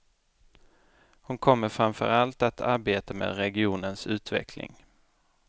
Hon kommer framför allt att arbeta med regionens utveckling.